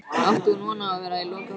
Átti hún von á að vera í lokahópnum?